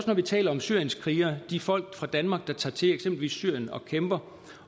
når vi taler om syrienskrigere de folk fra danmark der tager til eksempelvis syrien og kæmper